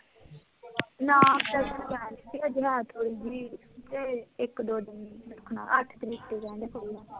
ਨਾ, ਕਲ ਜਾਂਚ ਹੋਈ ਸੀ, ਅੱਜ ਰਾਤ ਹੋਇਸੀ, ਇਕ ਦੋ ਦਿਨ ਰੱਖਣਾ, ਅੱਠ ਤਰੀਕ ਤੋਂ ਕਹਿੰਦੇ ਖੁਲ੍ਹਣਾ